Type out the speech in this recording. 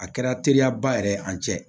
A kɛra teriyaba yɛrɛ ye an cɛ